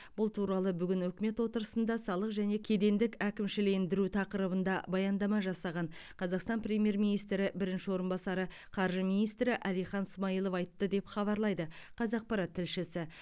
бұл туралы бүгін үкімет отырысында салық және кедендік әкімшілендіру тақырыбында баяндама жасаған қазақстан премьер министрі бірінші орынбасары қаржы министрі әлихан смайылов айтты деп хабарлайды қазақпарат тілшісі